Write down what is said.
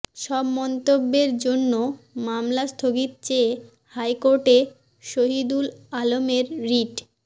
সব মন্তব্যের জন্য মামলা স্থগিত চেয়ে হাইকোর্টে শহিদুল আলমের রিট